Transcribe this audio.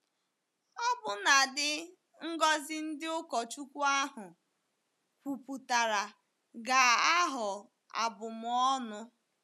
Ọbụnadi ngọzi ndị ụkọchukwu ahụ kwupụtara ga-aghọ abụm ọnụ.